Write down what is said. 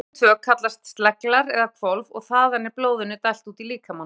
Neðri hólfin tvö kallast sleglar eða hvolf og þaðan er blóðinu dælt út í líkamann.